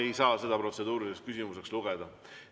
Ma ei saa seda protseduuriliseks küsimuseks lugeda.